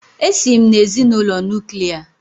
Èsi m n'ezinụlọ Nuklià